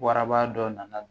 Waraba dɔ nana